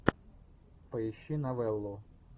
поищи новеллу